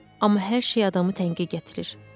Amma hər şey adamı tənqə gətirir.